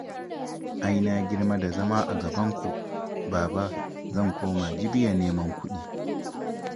Ai na girma da zama a gabanku, Baba. Zan koma Jibiya neman kuɗi